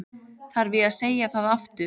Þarf ég að segja það aftur?